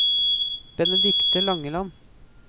Benedicte Langeland